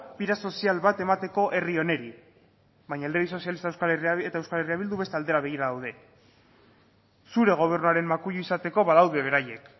bide sozial bat emateko herri honi baina alderdi sozialista eta euskal herria bildu beste aldera begira daude zure gobernuaren makuilu izateko badaude beraiek